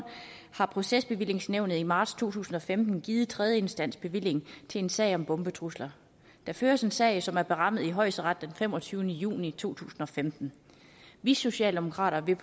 har procesbevillingsnævnet i marts to tusind og femten givet tredjeinstansbevilling til en sag om bombetrusler der føres en sag som er berammet i højesteret den femogtyvende juni to tusind og femten vi socialdemokrater vil